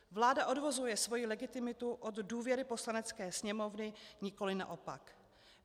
Vláda odvozuje svoji legitimitu od důvěry Poslanecké sněmovny, nikoliv naopak.